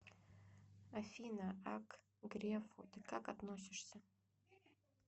афина а к грефу ты как относишься